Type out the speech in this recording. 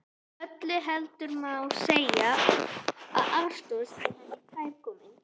Öllu heldur má segja að aðstoð sé henni kærkomin.